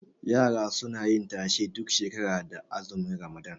Yara suna yin tashe duk shekara da azumin ramadan